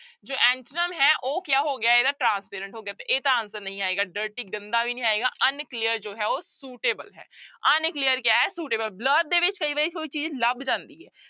ਜੋ antonym ਹੈ ਉਹ ਕਿਆ ਹੋ ਗਿਆ ਇਹਦਾ transparent ਹੋ ਗਿਆ ਤੇ ਇਹ ਤਾਂ answer ਨਹੀਂ ਆਏਗਾ dirty ਗੰਦਾ ਵੀ ਨੀ ਆਏਗਾ unclear ਜੋ ਹੈ ਉਹ suitable ਹੈ unclear ਕਿਆ ਹੈ suitable, blur ਦੇ ਵਿੱਚ ਕਈ ਵਾਰੀ ਕੋਈ ਚੀਜ਼ ਲੱਭ ਜਾਂਦੀ ਹੈ।